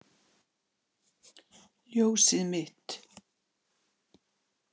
Ljósið mitt.